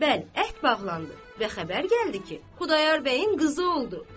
Bəli, əhd bağlandı və xəbər gəldi ki, Xudayar bəyin qızı oldu.